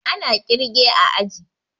Ana kirge a aji